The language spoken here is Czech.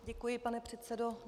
Děkuji, pane předsedo.